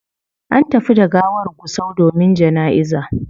An tafi da gawar gusau domin janaiza